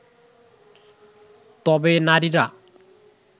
তবে নারীরা